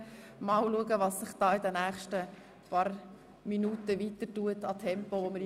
Schauen wir einmal, wie sich das Tempo in den nächsten Minuten weiterentwickeln wird.